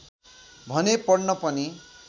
भने पढ्न पनि